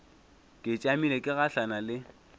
ke tšamile ke gahlana le